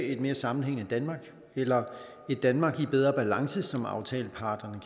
et mere sammenhængende danmark eller et danmark i bedre balance som aftaleparterne